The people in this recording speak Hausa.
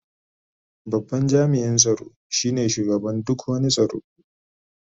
Babban jami'in tsaro shine shugaban duk wani tsaro.